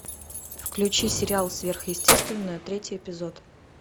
включи сериал сверхъестественное третий эпизод